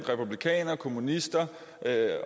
republikanere kommunister